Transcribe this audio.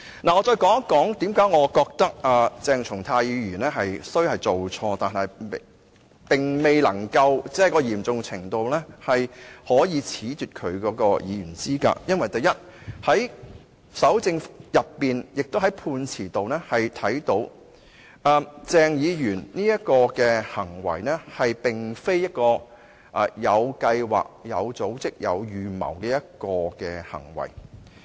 我想再說說為何我認為鄭松泰議員雖然是做錯了，但錯誤的嚴重程度未至於須褫奪他的議員資格，因為在蒐證時或在判詞當中可以看到，鄭議員這種行為並非有計劃、有組織、有預謀的行為。